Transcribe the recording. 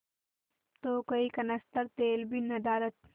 तो कई कनस्तर तेल भी नदारत